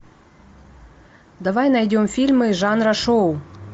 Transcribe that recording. давай найдем фильмы жанра шоу